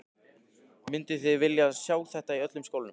Mynduð þið vilja sjá þetta í öllum skólanum?